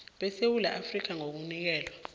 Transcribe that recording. besewula afrika ngokunikelwa